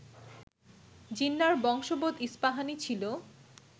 জিন্নাহর বশংবদ ইস্পাহানি ছিল